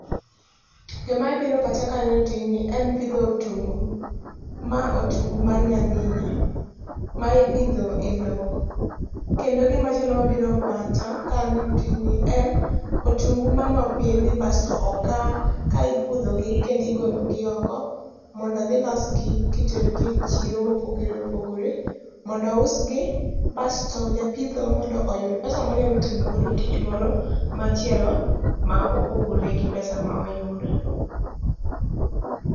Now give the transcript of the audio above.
Gima biro e pacha ka aneno tijni, en pidho otungu. Ma otungu mar nyangína, ma ipidho e lowo. Kendo gimachielo ma biro e pacha ka aneno tijni en, otungu mane opidhi basto okaa, ka ipudho gi, kendo igologi oko, mondo odhi olos gi ka itero gi e chiro mopogore opogore, mondo ousgi, basto japitho mondo oyud pesa monyalo timogo tich moro machielo ma opogore gi pesa ma oyudo.